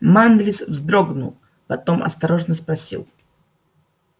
манлис вздрогнул потом осторожно спросил